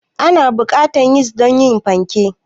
Ana buƙatar yis don yin fanke.